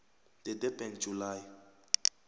the durban july